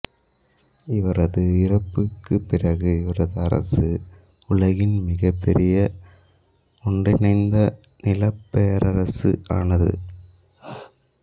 இவரது இறப்புக்குப் பிறகு இவரது அரசு உலகின் மிகப்பெரிய ஒன்றிணைந்த நிலப் பேரரசு ஆனது